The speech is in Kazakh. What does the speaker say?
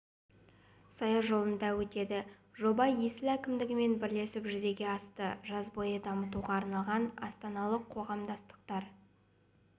саяжолында өтеді жоба есіл әкімдігімен бірлесіп жүзеге асты жаз бойы дамытуға арналған астаналық қоғамдастықтар